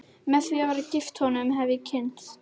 Með því að vera gift honum hef ég kynnst